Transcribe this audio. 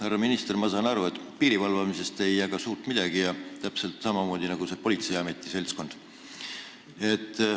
Härra minister, ma saan aru, et piiri valvamisest ei jaga te suurt midagi, täpselt samamoodi nagu see politseiameti seltskond.